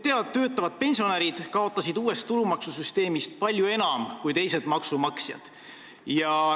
Töötavad pensionärid kaotasid uue tulumaksusüsteemi tõttu palju enam kui teised maksumaksjad.